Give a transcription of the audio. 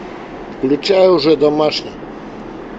включай уже домашний